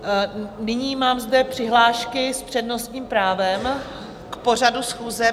Nyní mám zde přihlášky s přednostním právem k pořadu schůze.